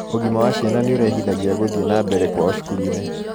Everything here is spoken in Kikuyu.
ũgima wa ciana niurehithagia guthie nambere kwao cukuru-ini